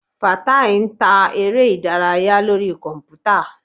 Fatai ń ta eré ìdárayá lórí kọ̀npútà.